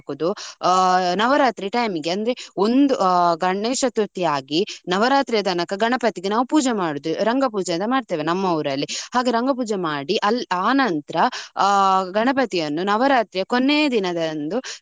ಆ ನವರಾತ್ರಿ time ಈಗೆ ಅಂದ್ರೆ ಒಂದು ಗಣೇಶ ಚತುರ್ಥಿ ಆಗಿ ನವರಾತ್ರಿ ತನಕ ಗಣಪತಿ ನಾವು ಪೂಜೆ ಮಾಡುದು ರಂಗ ಪೂಜಾ ಅಂತ ಮಾಡುತ್ತೇವೆ ನಮ್ಮ ಊರಲ್ಲಿ. ಹಾಗೆ ರಂಗ ಪೂಜೆ ಮಾಡಿ ಅಲ್ಲಿ ಆ ನಂತ್ರ ಆ ಗಣಪತಿಯನ್ನು ನವರಾತ್ರಿಯ ಕೊನೆ ದಿನ ಅಂದು.